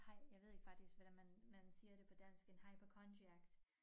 Haj jeg ved ikke faktisk hvordan man man siger det på dansk en hypochondriac